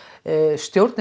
stjórnir